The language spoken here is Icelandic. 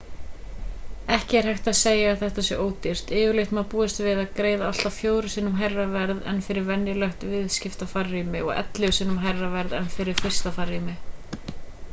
ekki er hægt að segja að þetta sé ódýrt yfirleitt má búast við að greiða allt að fjórum sinnum hærra verð en fyrir venjulegt viðskiptafarrými og ellefu sinnum hærra verð en fyrir fyrsta farrými